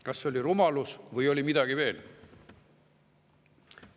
Kas see oli rumalus või oli seal midagi veel?